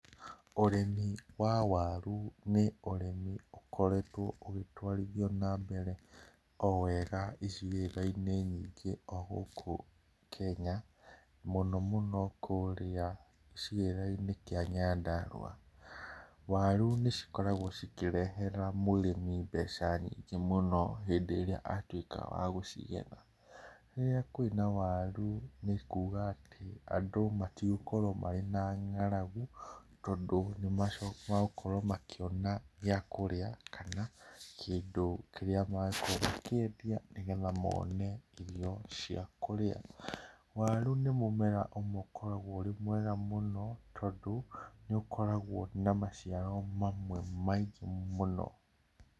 Ũrĩmi wa waru nĩ ũrĩmi ũkoretwo ũgĩtwarithio na mbere o wega icigĩrĩra-inĩ nyingĩ o gũkũ Kenya, mũno mũno kũrĩa icigĩrĩra-inĩ kĩa Nyandarũa. Waru nĩ cikoragwo cikĩrehera mũrĩmi mbeca nyingĩ mũno hĩndĩ ĩrĩa atuĩka wa gũcigetha. Rĩrĩa kwĩna waru nĩ kuga atĩ andũ matigokorwo marĩ na ng'aragu, tondũ nĩ megũkorwo makĩona gĩa kũrĩa kana kĩndũ kĩrĩa magũkorwo makĩendia nĩgetha mone irio cia kũrĩa. Waru nĩ mũmera ũmwe ũkoragwo ũrĩ mwega mũno tondũ, nĩ ũkoragwo na maciaro mamwe maingĩ mũno